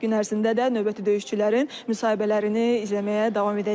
Gün ərzində də növbəti döyüşçülərin müsahibələrini izləməyə davam edəcəyik.